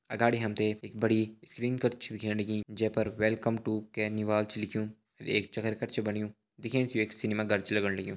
अगाड़ी हम त एक बड़ी स्क्रीन कर छ दिखेण लगीं जै पर वेलकम टु छ लिख्युं एक कट छ बण्यु दिखेण से ये एक सिनेमा घर छ लगण लग्युं।